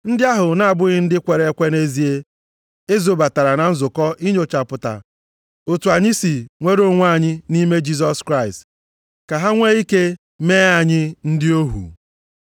Ndị ahụ na-abụghị ndị kwere ekwe nʼezie e zobatara na nzukọ inyochapụta otu anyị si nwere onwe anyị nʼime Kraịst Jisọs, ka ha nwee ike mee anyị ndị ohu.